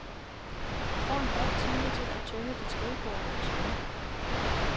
Du får en halv time til at tømme dit skrivebord og forsvinde.